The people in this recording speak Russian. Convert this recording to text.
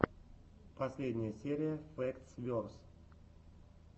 последняя серия фэктс верс